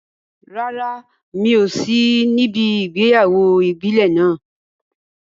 Rárá, mi ò sí níbi ìgbéyàwó ìbílẹ̀ náà.